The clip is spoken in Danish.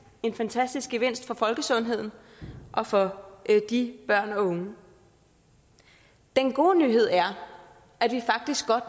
en fantastisk gevinst for folkesundheden og for de børn og unge den gode nyhed er at vi faktisk godt